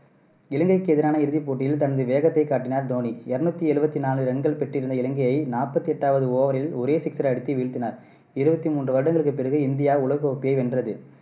இலங்கைக்கு எதிரான இறுதிப்போட்டியில் தனது வேகத்தை காட்டினார் தோனி. இருநூத்தி எழுவத்தி நாலு ரன்கள் பெற்றிருந்த இலங்கையை நாப்பத்து எட்டாவது over ல் ஒரே sixer அடித்து வீழ்த்தினார். இருவத்தி மூன்று வருடங்களுக்கு பிறகு இந்தியா உலக கோப்பையை வென்றது.